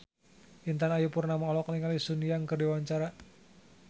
Intan Ayu Purnama olohok ningali Sun Yang keur diwawancara